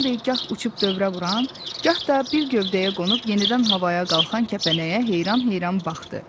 Bembi gah uçub dövrə vuran, gah da bir gövdəyə qonub yenidən havaya qalxan kəpənəyə heyran-heyran baxdı.